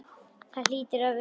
Það hlýtur að vera.